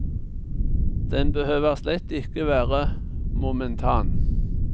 Den behøver slett ikke være momentan.